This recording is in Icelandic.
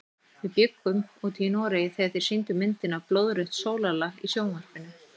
Við bjuggum úti í Noregi þegar þeir sýndu myndina Blóðrautt sólarlag í sjónvarpinu.